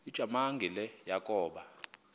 ujamangi le yakoba